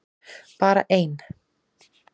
Bara ein!